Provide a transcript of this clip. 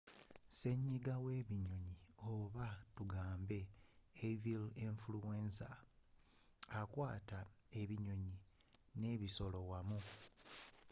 senyiga w'ebinyonyi oba tugambe avia influenza akwata ebinyonyi n'ensolo wamu